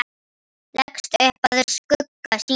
Leggst upp að skugga sínum.